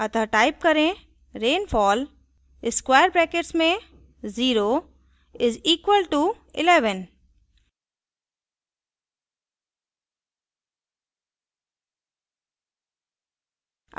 अतः type करें rainfall 0 = 11;